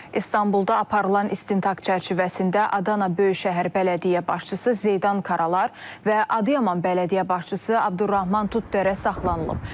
İstanbulda aparılan istintaq çərçivəsində Adana Böyükşəhər Bələdiyyə başçısı Zeydan Karalar və Adıyaman Bələdiyyə başçısı Abdurrahman Tuttərə saxlanılıb.